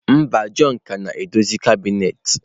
Mba, john ka na-edozi kabinet.